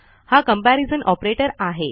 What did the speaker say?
हा comparison operator आहे